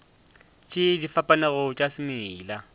tše di fapanego tša semela